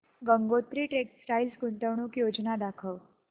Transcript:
Gangotri textile गुंतवणूक योजना दाखव